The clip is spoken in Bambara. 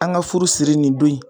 An ka furu siri nin don in.